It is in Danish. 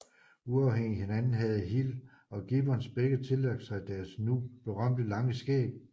Uafhængigt at hinanden havde Hill og Gibbons begge tillagt sig deres nu berømte lange skæg